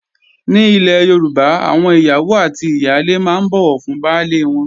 Ní ilè Yorùbá, àwọn ìyàwó àti ìyálé máa ń bọ̀wọ̀ fún baálé wọn